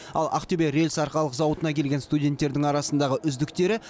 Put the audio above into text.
ал ақтөбе рельс арқалық зауытына келген студенттердің арасындағы үздіктері